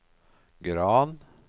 Gran